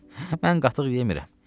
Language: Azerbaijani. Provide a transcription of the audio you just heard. Mən qatıq yemmirəm.